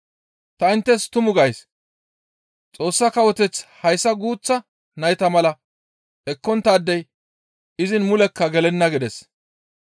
Ta inttes tumu gays; Xoossa Kawoteth hayssa guuththa nayta mala ekkonttaadey izin mulekka gelenna» gides.